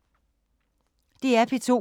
DR P2